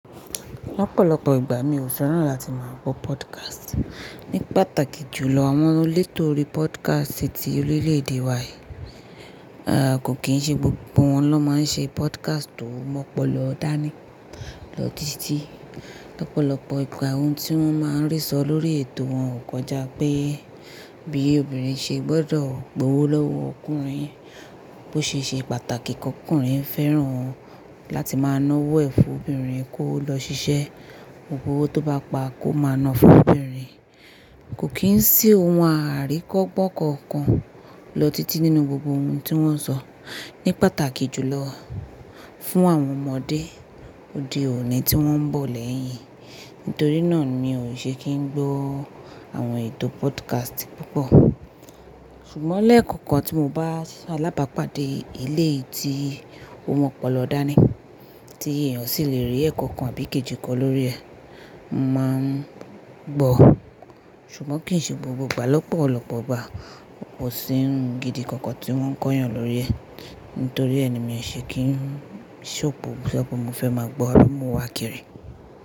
Lọ́pọ̀lọ́pọ̀ ìgbà mi ò fẹ́ràn láti máa gbọ́ podcast. Ní pàtàkì jù lọ àwọn elétó orí podcast ti orílẹ̀ èdè wa, à à kò kí ń ṣe gbogbo wọn ló máa ń ṣe podcast tó mọ́pọlọ dání lọ títí. Lọ́pọ̀lọ́pọ̀ ìgbà ohun tí wọ́n máa ń rí sọ lórí ètò wọn ò jà pé bí obìnrin ṣe gbọ́dọ̀ gbówó lọ́wọ́ ọkùnrin, bó ṣe ṣe pàtàkì kí ọkùnrin fẹ́ràn láti máa na ọwọ́ ẹ̀ fún obìnrin kó lọ ṣiṣẹ́, gbogbo owó tó bá pa kó máa na fún obìnrin. Kò kí ń sì ohun àríkọ gbọ́kọ̀ọ̀kan lọ títí nínú gbogbo ohun tí wọ́n ń sọ ní pàtàkì jù lọ fún àwọn ọmọdé òde òní tí wọ́n ń bọ̀ lẹ́yìn. Nítorí náà mi ò ṣe kí ń gbọ́ àwọn ètò podcast púpọ̀. Ṣùgbọ́n lẹ́ẹ̀kọ̀kan tí mo bá se alábàápàdé eleyii tí ó mọ́pọlọ dání tí èèyàn sì le rí ẹ̀kọ̀ kan àbí kejì kan lórí ẹ̀, mo màá n gbọ́. Ṣùgbọ́n kìí ṣe gbogbo igbà lọ́pọ̀lọ́pọ̀ igbá. Kò sí ohun gidi kankan tí wọ́n ń kọ́yàn lórí ẹ̀. Nítorí ẹ ni mi ò ṣe kí n-- ṣóòpo ṣo pọ̀ mo fẹ́ máa gbọ́ ábi mo n wá kiri.